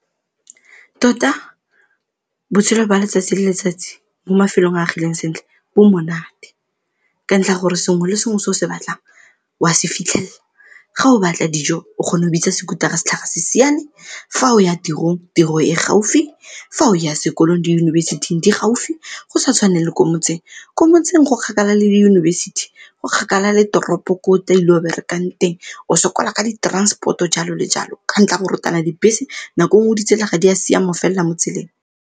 Tota botshelo ba letsatsi le letsatsi mo mafelong a agileng sentle bo monate ka ntlha ya gore sengwe le sengwe se o se batlang o a se fitlhela. Ge o batla dijo o kgona go bitsa sekutara se tlhaga se siana, fa o ya tirong tiro e gaufi, fa o ya sekolong diyunibesithing di gaufi, go sa tshwane le ko motseng, ko motseng go kgakala le diyunibesithi, go kgakala le toropo berekang teng o sokola ka di-transport-o jalo le jalo ka ntlha ya gore dibese nako nngwe ditsela ga di a siama o felela mo tseleng.